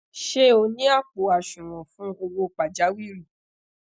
ṣe o ni apo asuwon fun owo pajawiri